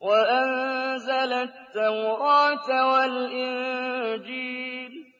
وَأَنزَلَ التَّوْرَاةَ وَالْإِنجِيلَ